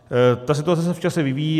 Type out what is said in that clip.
Ta situace se v čase vyvíjí.